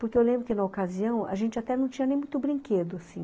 Porque eu lembro que na ocasião a gente até não tinha nem muito brinquedo assim